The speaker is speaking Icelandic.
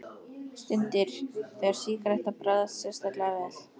Stundir, þegar sígaretta bragðast sérstaklega vel.